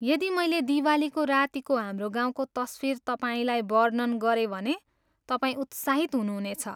यदि मैले दिवालीको रातीको हाम्रो गाउँको तस्वीर तपाईँलाई वर्णन गरेँ भने तपाईँ उत्साहित हुनुहुनेछ।